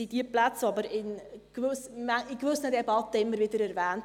Diese Plätze werden aber in gewissen Debatten aber immer wieder erwähnt.